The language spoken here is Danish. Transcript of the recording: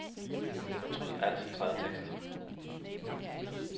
Fortryd al centreret tekst.